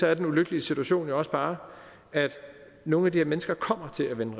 er den ulykkelige situation jo også bare at nogle af de her mennesker kommer til at vende